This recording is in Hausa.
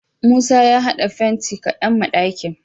Musa ya had'a fenti kadan ma d'akin